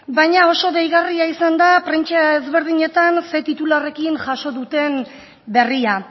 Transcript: baina oso deigarria izan da prentsa ezberdinetan ze titularrarekin jaso duten berria